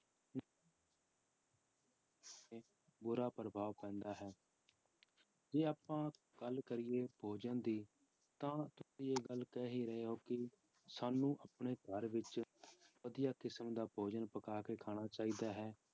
ਬੁਰਾ ਪ੍ਰਭਾਵ ਪੈਂਦਾ ਹੈ ਜੇ ਆਪਾਂ ਗੱਲ ਕਰੀਏ ਭੋਜਨ ਦੀ ਤਾਂ ਤੁਸੀਂ ਇਹ ਗੱਲ ਕਹਿ ਹੀ ਰਹੇ ਹੋ ਕਿ ਸਾਨੂੰ ਆਪਣੇ ਘਰ ਵਿੱਚ ਵਧੀਆ ਕਿਸਮ ਦਾ ਭੋਜਨ ਪਕਾ ਕੇ ਖਾਣਾ ਚਾਹੀਦਾ ਹੈ,